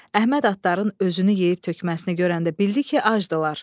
Əhməd atların özünü yeyib tökməsini görəndə bildi ki, acdırlar.